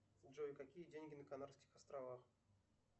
джой какие деньги на канарских островах